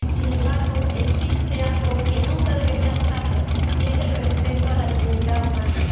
Sin embargo, existe algo que nunca debería estarlo y es el respeto de la dignidad humana.